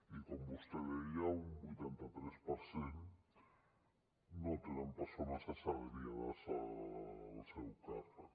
i com vostè deia un vuitanta tres per cent no tenen persones assalariades al seu càrrec